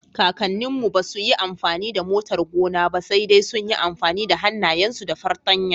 Kakanninmu ba su yi amfani da motar gona ba, sai dai sun yi amfani da hannayensu da fartanya.